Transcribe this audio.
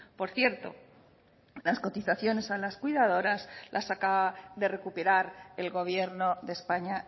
por cierto las cotizaciones a las cuidadoras las acaba de recuperar el gobierno de españa